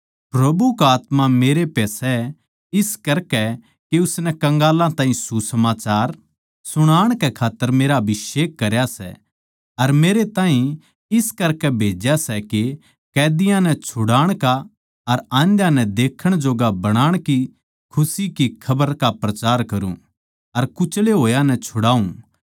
प्रभु का आत्मा मेरै पै सै इस करकै के उसनै कंगालां ताहीं सुसमाचार सुणाण कै खात्तर मेरा अभिषेक करया सै अर मेरै ताहीं इस करकै भेज्या सै के कैदीयां नै छुड़ाण का अर आंध्याँ नै देखण जोग्गा बनाण की खुशी की खबर का प्रचार करूँ अर कुचले होया नै छुड़ाऊँ